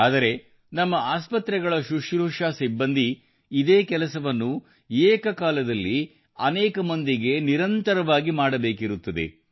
ಆದರೆ ನಮ್ಮ ಆಸ್ಪತ್ರೆಗಳ ಶುಶ್ರೂಷಾ ಸಿಬ್ಬಂದಿ ಇದೇ ಕೆಲಸವನ್ನು ಏಕಕಾಲದಲ್ಲಿ ಅನೇಕ ಮಂದಿಗೆ ನಿರಂತರವಾಗಿ ಮಾಡಬೇಕಿರುತ್ತದೆ